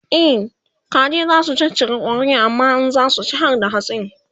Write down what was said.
e kaji zasu caccaka ƙwarin amma in zasu ci harda hatsin